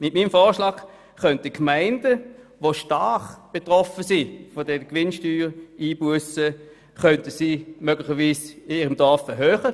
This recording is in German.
Mit meinem Vorschlag könnten stark von Gewinnsteuereinbussen betroffene Gemeinden die Steueranlage auf ihrem Gebiet erhöhen.